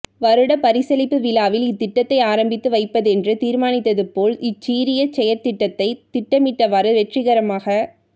வருடப் பரிசளிப்பு விழாவில் இத்திட்டத்தை ஆரம்பித்து வைப்பதென்று தீர்மானித்ததுபோல் இச்சீரிய செயற்திட்டத்தைத் திட்டமிட்டவாறு வெற்றிகரமாக